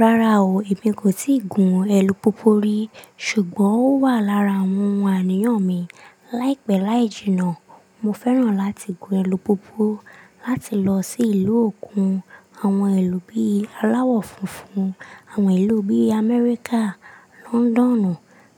Rárá o, èmi kò tíì gun èlù pupu rí, ṣùgbọ́n ó wà lára àwọn ohun àníyàn mi. Láìpẹ́ láì jìnnà, mo fẹ́ràn láti gun èlù pupu láti lọ sí ìlú òkun àwọn ilù bí i aláwọ̀ funfun, àwọn ìlú bí i Amẹ́ríkà, lọ́ńdọ́nù,